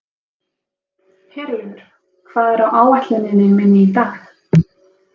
Herlaugur, hvað er á áætluninni minni í dag?